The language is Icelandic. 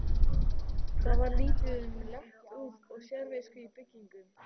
Það var lítið um léttúð og sérvisku í byggingum.